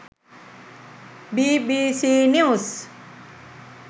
bbc news